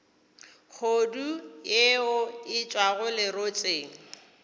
kgodu yeo e tšwago lerotseng